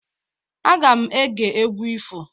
Aga m ege egwu ifo.